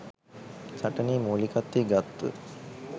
සටනේ මුලිකත්වය ගත්ත